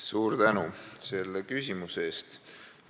Suur tänu selle küsimuse eest!